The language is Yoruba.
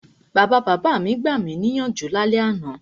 Bàbabàbá mi gbami níyànjú lálẹ́ àná.